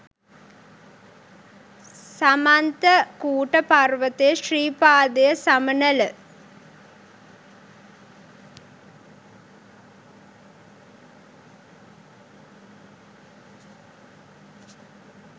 සමන්ත කූට පර්වතය ශ්‍රී පාදය සමනල